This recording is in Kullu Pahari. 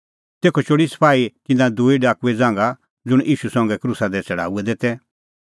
तेखअ चोल़ी सपाही तिन्नां दूई डाकुए ज़ांघा ज़ुंण ईशू संघै क्रूसा दी छ़ड़ाऊऐ तै